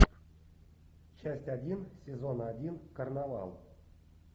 часть один сезона один карнавал